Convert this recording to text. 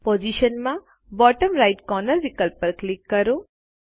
position માં bottom right corner વિકલ્પ પર ક્લિક કરો